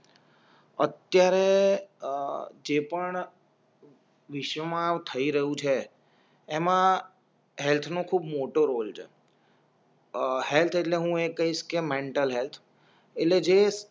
અત્યારે અ જે પણ વિશ્વમાં થઈ રહી છે એમાં હેલ્થ નું ખૂબ મોટો રોલ છે અ હેલ્થ એટલે હું એ કઇસ કે મેન્ટલ હેલ્થ એટલે જે